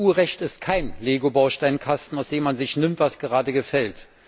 Das EU Recht ist kein LEGO Bausteinkasten, aus dem man sich nimmt, was gerade gefällt.